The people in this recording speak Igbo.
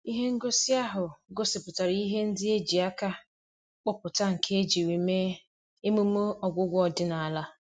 Ihe ngosi ahụ gosipụtara ihe ndị e ji aka kpụpụta nke ejiri mee emume ọgwụgwọ ọdịnala.